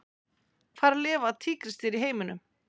Hvar lifa tígrisdýr í heiminum?